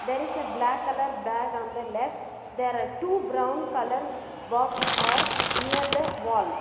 there is a black colour bag on the left there are two brown colour box are near the wall.